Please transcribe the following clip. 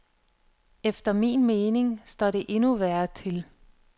Efter min mening står det endnu værre til.